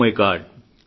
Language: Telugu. oh my God